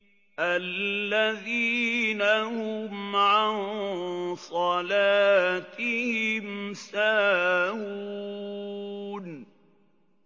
الَّذِينَ هُمْ عَن صَلَاتِهِمْ سَاهُونَ